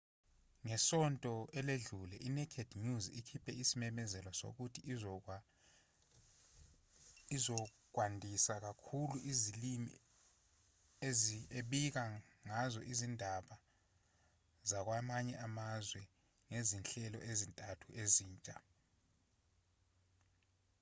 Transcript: ngesonto eledlule i-naked news ikhiphe isimemezelo sokuthi izokwandisa kakhulu izilimi ebika ngazo izindaba zakwamanye amazwe ngezinhlelo ezintathu ezintsha